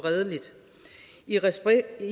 det